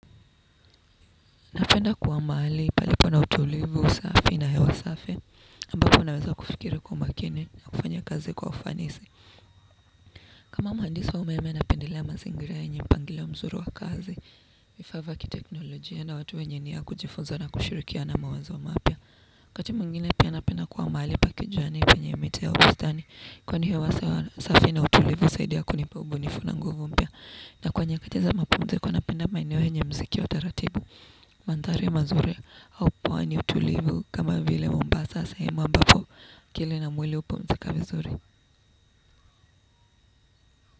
Napenda kuwa mahali palipo na utulivu, usafi na hewa safi, ambako unaweza kufikiri kwa umakini na kufanya kazi kwa ufanisi. Kama mhandisi umeme napendelea mazingira yenye mpangilio mzuri wa kazi, vifaa kiteknolojia na watu wenye nia ya kujifunza na kushurikiana mawazo mapya. Wakati mwingine pia napenda kuwa mahali pa kijani penye miti au bustani, kwani hewa safi na utulivu husaidia kunipa ubunifu na nguvu mpya. Na kwenye katiza mapumziko napenda maenoe yenye muziki wa taratibu, mandari mazuri au pwani ya utulivu kama vile mombasa sehemu ambapo akili na mwili hupumzika vizuri.